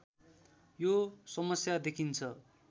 यो समस्या देखिन्छ